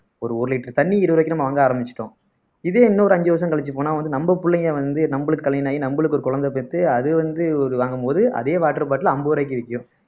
ஒரு ஒரு liter தண்ணி இருபது ரூபாய்க்கு நம்ம வாங்க ஆரம்பிச்சுட்டோம் இதே இன்னொரு அஞ்சு வருஷம் கழிச்சு போனா வந்து நம்ம புள்ளைங்க வந்து நம்மளுக்கு கல்யாணம் ஆயி நம்மளுக்கு ஒரு குழந்தை பெத்து அது வந்து ஒரு வாங்கும்போது அதே water bottle அம்பது ரூபாய்க்கு விற்கும்